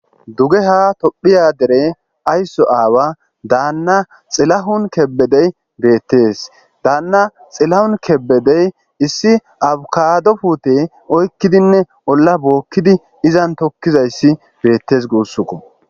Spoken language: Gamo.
duge ha tophiya dere aysso aawa daanna xilahun kebedey beettes daanna xilahun kebbedey issi abukadopute oykkidinne olla bookkidi izan tokkizayssi geettes guussukko